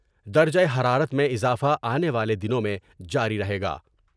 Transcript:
درجہ حرارت میں اضافہ آنے والے دنوں میں جاری رہے گا ۔